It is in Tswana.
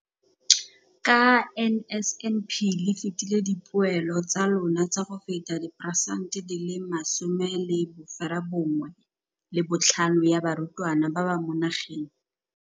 Ka NSNP le fetile dipeelo tsa lona tsa go fepa 75 percent ya barutwana ba mo nageng.